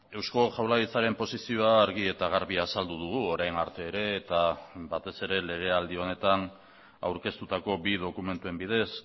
eusko jaurlaritzaren posizioa argi eta garbi azaldu dugu orain arte ere eta batez ere legealdi honetan aurkeztutako bi dokumentuen bidez